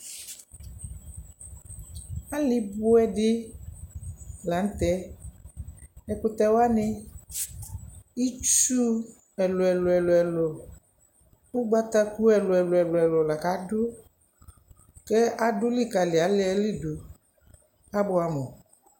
Ali buɛɛdi lanutɛɛ ɛkutɛwani itsuu ɛluɛluɛluɛlu ugbataku ɛluɛluɛluɛlu la kadu kɛ adulikali aliɛli du Abuamu